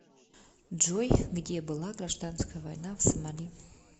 джой где была гражданская война в сомали